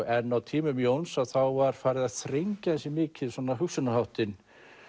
en á tímum Jóns var farið að þrengja ansi mikið hugsunarháttinn